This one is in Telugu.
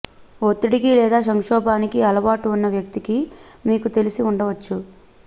ఒత్తిడికి లేదా సంక్షోభానికి అలవాటు ఉన్న వ్యక్తికి మీకు తెలిసి ఉండవచ్చు